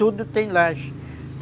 Tudo tem laje.